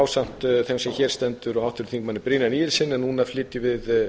ásamt eða sem hér stendur og háttvirtum þingmanni brynjari níelssyni en núna flytjum við